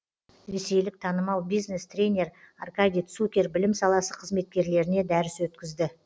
ресейлік танымал бизнес тренер аркадий цукер білім саласы қызметкерлеріне дәріс өткізді